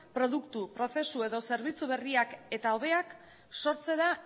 produktu prozesu edo zerbitzu berriak eta hobeak sortzera